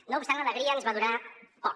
no obstant l’alegria ens va durar poc